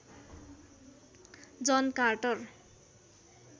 John Carter